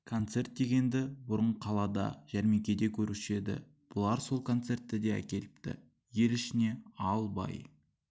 концерт дегенді бұрын қалада жәрмеңкеде көруші еді бүлар сол концертті де әкеліпті ел ішіне ал бай